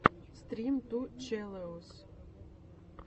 стрим ту челэуз